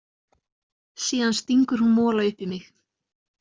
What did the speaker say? Síðan stingur hún mola upp í mig.